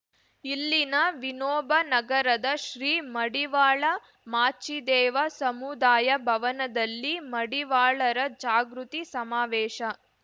ಇಲ್ಲಿನ ವಿನೋಬ ನಗರದ ಶ್ರೀ ಮಡಿವಾಳ ಮಾಚಿದೇವ ಸಮುದಾಯ ಭವನದಲ್ಲಿ ಮಡಿವಾಳರ ಜಾಗೃತಿ ಸಮಾವೇಶ